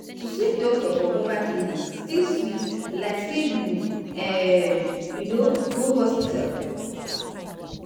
see doctor for mobile clinic still sweet like say you um you know go hospital.